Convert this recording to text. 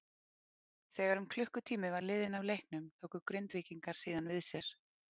Þegar um klukkutími var liðinn af leiknum tóku Grindvíkingar síðan við sér.